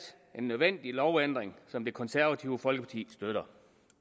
en nødvendig lovændring som det konservative folkeparti støtter